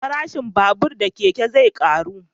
Farashin babur da keke zai karu